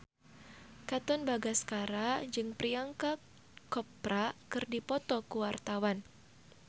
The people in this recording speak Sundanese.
Katon Bagaskara jeung Priyanka Chopra keur dipoto ku wartawan